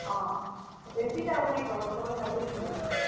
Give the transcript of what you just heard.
ହଁ, ଦେଶୀ ଟା ଆଉ ନାଇଁ କର୍ ବାର୍ ସଭେ hybrid ହେଇ ଗଲେନ।